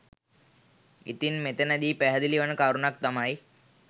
ඉතින් මෙතැනදී පැහැදිලි වන කරුණක් තමයි